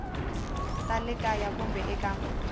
ta le kaya kumbe eka